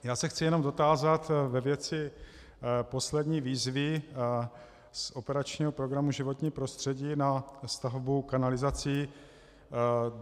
Já se chci jenom dotázat ve věci poslední výzvy z operačního programu Životní prostředí na stavbu kanalizací.